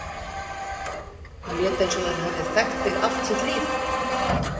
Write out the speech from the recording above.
Hún lét eins og hún hefði þekkt þig allt sitt líf.